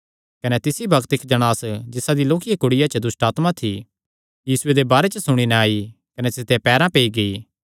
कने तिसी बग्त इक्क जणांस जिसा दिया लोक्किया कुड़िया च दुष्टआत्मा थी यीशुये दे बारे च सुणी नैं आई कने तिसदेयां पैरां पेई गेई